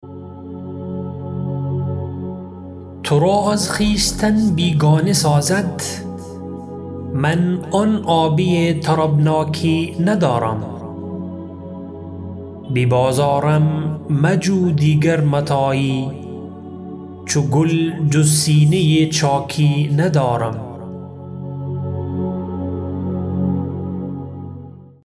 ترا از خویشتن بیگانه سازد من آن آبی طربناکی ندارم به بازارم مجو دیگر متاعی چو گل جز سینه چاکی ندارم